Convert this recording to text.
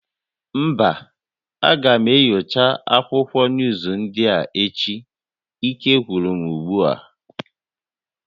Mba, aga m enyocha akwụkwọ nuuzu ndị a echi, ike gwụrụ m ugbu a